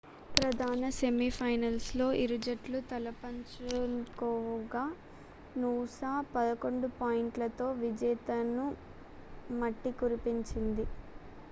ప్రధాన semi final లో ఇరుజట్లు తలపపంచుకోగా నూసా 11 పాయింట్లతో విజేతలను మట్టికరిపించింది